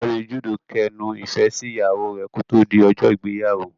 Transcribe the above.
Ọ̀gbẹ́ni Jude kẹnu ifẹ sí ìyàwó rẹ ki o to di ọjọ ìgbéyàwó.